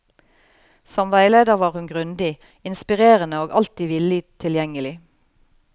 Som veileder var hun grundig, inspirerende og alltid villig tilgjengelig.